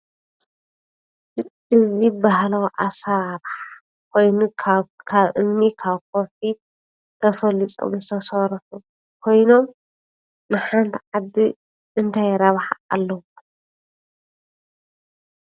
እዚ ባህላዊ ኣሰራርሓ ኮይኑ ካብ እምኒ፣ ካብ ከዉሒ ተፈሊፆም ዝተሰርሑ ኮይኖም ንሓንቲ ዓዲ እንታይ ረብሓ ኣለዎም?